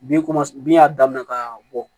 Bi bin y'a daminɛ ka bɔ